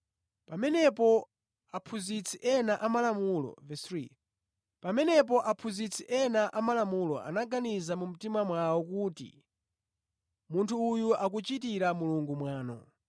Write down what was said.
Pamenepo aphunzitsi ena amalamulo anaganiza mu mtima mwawo kuti, “Munthu uyu akuchitira Mulungu mwano.”